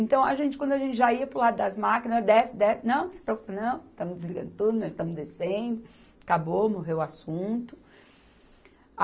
Então, a gente, quando a gente já ia para o lado das máquinas, desce, desce, não, não se preocupe, não, estamos desligando tudo, estamos descendo, acabou, morreu o assunto.